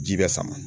Ji bɛ sama